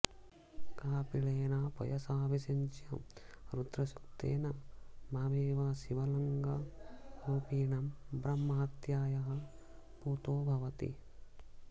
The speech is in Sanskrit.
कापिलेन पयसाभिषिच्य रुद्रसूक्तेन मामेव शिवलिङ्गरूपिणं ब्रह्महत्यायाः पूतो भवति